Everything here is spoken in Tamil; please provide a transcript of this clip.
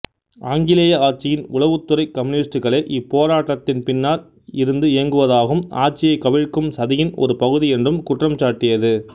ஆங்கிலேய ஆட்சியின் உளவுத்துறை கம்யூனிஸ்ட்டுகளே இப்போராட்டத்தின் பின்னால் இருந்து இயக்குவதாகவும் ஆட்சியைக் கவிழ்க்கும் சதியின் ஒரு பகுதி என்றும் குற்றம்சாட்டியது